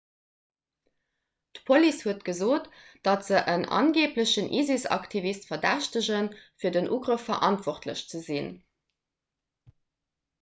d'police huet gesot datt se en angeeblechen isis-aktivist verdächtegen fir den ugrëff verantwortlech ze sinn